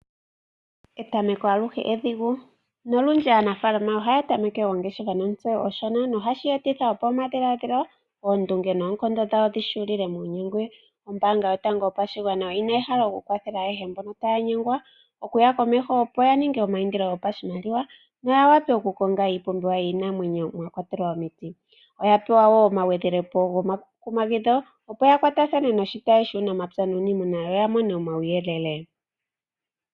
Etameko aluhe edhigu nolundji aanafaalama ohaya tameke ongeshefa nontseyo onshona nohashi etitha opo omadhiladhilo, oondunge noonkondo dhawo dhi hulile muunyengwi. Ombaanga yotango yopashigwana oyi na ehalo okukwathela ayehe mpono taya nyengwa okuya komeho , opo ya ninge omaindilo gopashimaliwa noya vule okukonga iipumbiwa yiinamwenyo mwa kwatelwa omiti noya pewa wo omagwedhelepo gomakumagidho, opo ya kwatathane noshitayi shuunamapya nuuniimuna yo ya mone omauyelele.